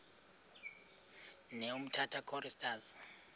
ne umtata choristers